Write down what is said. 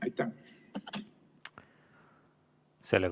Aitäh!